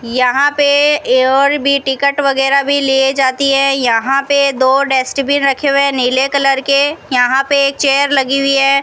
यहां पे और भी टिकट वगैरा भी लिए जाती है यहां पे दो डस्टबिन रखे हुए नीले कलर के यहां पे एक चेयर लगी हुई है।